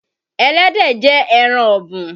Ẹlẹ́dẹ̀ jẹ́ ẹran ọ̀bùn.